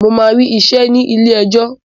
Mo máa rí iṣẹ́ ní ilé ẹjọ́.